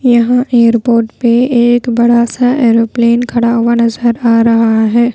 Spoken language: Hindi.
यहां एयरपोर्ट पे एक बड़ा सा एरोप्लेन खड़ा हुआ नजर आ रहा है।